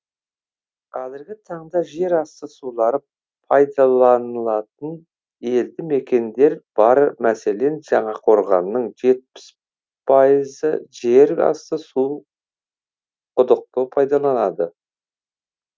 қазіргі таңда жер асты сулары пайдаланатын елді мекендер бар мәселен жаңақорғанның жетпіс пайызы жер асты суы құдықты пайдаланады